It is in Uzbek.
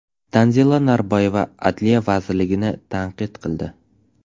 Tanzila Norboyeva Adliya vazirligini tanqid qildi.